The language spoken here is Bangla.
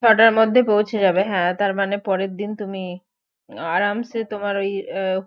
ছটার মধ্যে পৌঁছে যাবে হ্যাঁ তার মানে পরের দিন তুমি আরামসে তোমার ওই